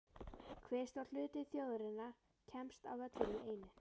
Hve stór hluti þjóðarinnar kemst á völlinn í einu?